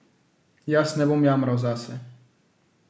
Jaz ne bom jamral zase.